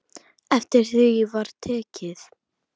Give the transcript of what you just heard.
Eftir því var tekið.